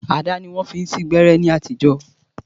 Àdá ni wọ́n fi ń sín gbẹ́rẹ́ ní àtijọ́